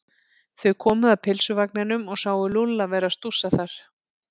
Þau komu að pylsuvagninum og sáu Lúlla vera að stússa þar.